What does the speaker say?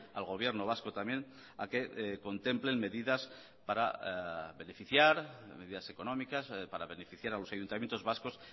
al gobierno vasco también a que contemplen medidas para beneficiar medidas económicas para beneficiar a los ayuntamientos vascos